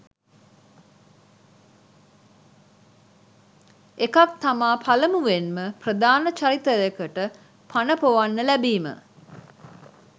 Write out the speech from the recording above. එකක් තමා පළමුවෙන්ම ප්‍රධාන චරිතයකට පණ ‍පොවන්න ලැබිම